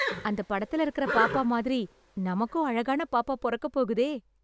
அந்த படத்துல இருக்கற பாப்பா மாதிரி, நமக்கும் அழகான பாப்பா பொறக்கப் போகுதே...